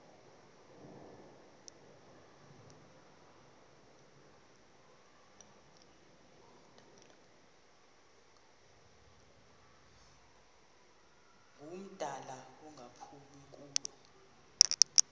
ngumdala engaphumi kulo